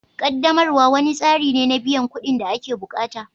Ƙaddamarwa wani tsari ne na biyan kuɗin da ake bukata